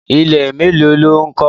Ilé mélòó ló ń kọ́?